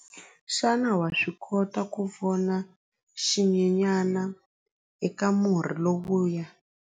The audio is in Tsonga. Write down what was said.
Xana wa swi kota ku vona xinyenyana eka murhi lowuya?